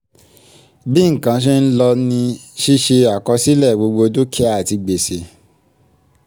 bí nǹkan ṣe ń lọ ni ṣíṣe àkọsílẹ̀ gbogbo dúkìá àti gbèsè